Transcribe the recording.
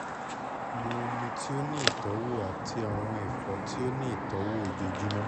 mu omi ti o ni itọwo ti awọn ẹfọ ti o ni itọwo ojoojumọ